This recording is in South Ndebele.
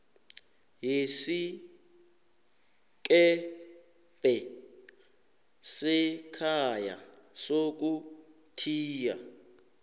yesikebhe sekhaya sokuthiya